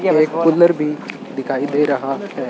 एक पिलर भी दिखाई दे रहा है।